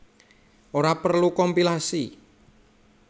Ora perlu kompilasi